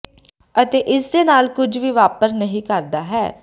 ਅਤੇ ਇਸ ਦੇ ਨਾਲ ਕੁਝ ਵੀ ਵਾਪਰ ਨਹੀ ਕਰਦਾ ਹੈ